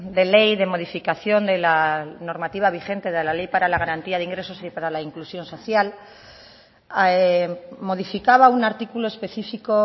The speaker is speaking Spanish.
de ley de modificación de la normativa vigente de la ley para la garantía de ingresos y para la inclusión social modificaba un artículo específico